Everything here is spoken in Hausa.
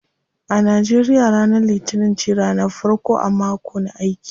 A Nigeria ranar litinin ce ranar farko a mako na aiki.